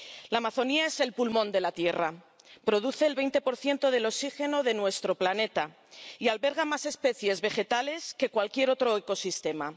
La Amazonia es el pulmón de la tierra, produce el 20 del oxígeno de nuestro planeta y alberga más especies vegetales que cualquier otro ecosistema.